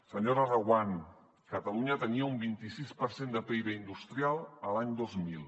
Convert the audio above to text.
senyora reguant catalunya tenia un vint i sis per cent de pib industrial l’any dos mil